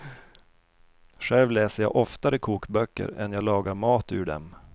Själv läser jag oftare kokböcker än jag lagar mat ur dem.